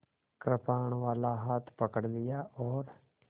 कृपाणवाला हाथ पकड़ लिया और